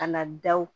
Ka na daw